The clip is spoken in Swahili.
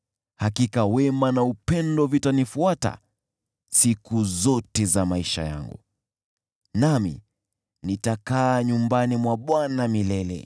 Hakika wema na upendo vitanifuata siku zote za maisha yangu, nami nitakaa nyumbani mwa Bwana milele.